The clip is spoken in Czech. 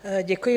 Děkuji.